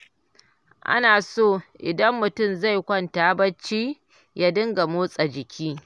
Ana so idan mutum zai kwanta bacci ya dinga motsa jiki